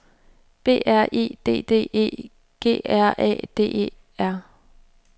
B R E D D E G R A D E R